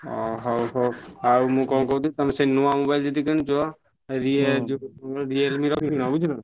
ହଁ ହଉ ହଉ ଆଉ ମୁଁ କଣ କହୁଥିନି ତମେ ସେଇ ନୁଆ mobile ଯଦି କିନୁଛ ରିଏ~ ଯୋଉ Realme ର କିଣ ବୁଝିଲ୍ ନା।